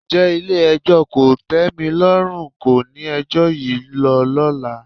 Ǹjẹ́ Ilé-ẹjọ́ kòtẹ́milọ́rùn kọ́ ni ẹjọ́ yìí ń lọ lọ́la?